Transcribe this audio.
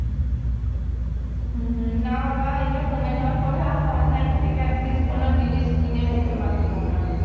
হম হম না বাবা এটা কমে যাওয়ার পরে আর online থেকে at least কিনে মুখে মাখিও না